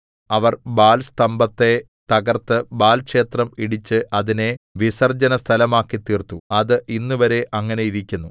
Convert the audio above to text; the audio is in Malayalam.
അവർ ബാൽസ്തംഭത്തെ തകർത്ത് ബാല്‍ ക്ഷേത്രം ഇടിച്ച് അതിനെ വിസർജനസ്ഥലമാക്കിത്തീർത്തു അത് ഇന്നുവരെ അങ്ങനെ ഇരിക്കുന്നു